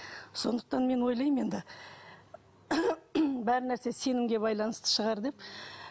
сондықтан мен ойлаймын енді бар нәрсе сенімге байланысты шығар деп